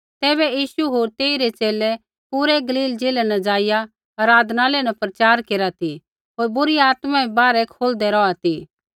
तैबै यीशु होर तेइरै च़ेले पूरै गलील ज़िलै न जाईया आराधनालय न प्रचार केरा ती होर बुरी आत्मा बै बाहरै खोलदै रौहा ती